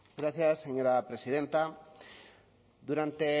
gracias señora presidenta durante